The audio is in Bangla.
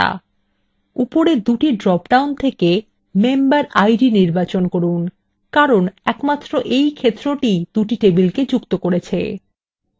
উপরের দুটি drop downs থেকে memberid ক্ষেত্রটি নির্বাচন করুন কারণ একমাত্র এই ক্ষেত্রটিই দুটি টেবিলকে যুক্ত করেছে